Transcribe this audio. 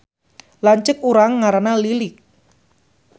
Lanceuk urang ngaranna Lilik